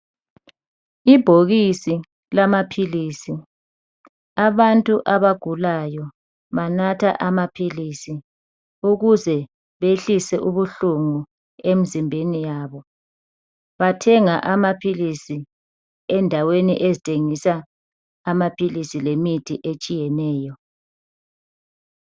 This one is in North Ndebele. Ibhokisi lamaphilisi , abantu abagulayo banatha amaphilisi ukuze behlise ubuhlungu emzimbeni yabo. Bathenga amaphilisi endaweni ezithengisa amaphilisi le mithi etshiyeneyo.